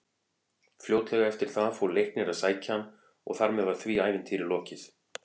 Fljótlega eftir það fór Leiknir að sækja hann og þar með var því ævintýri lokið.